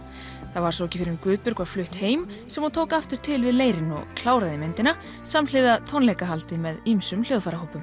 það var svo ekki fyrr en Guðbjörg var flutt heim sem hún tók aftur til við leirinn og kláraði myndina samhliða tónleikahaldi með ýmsum